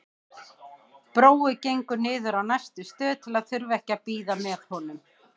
Brói gengur niður á næstu stöð til að þurfa ekki að bíða með honum.